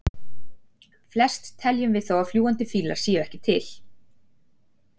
flest teljum við þó að fljúgandi fílar séu ekki til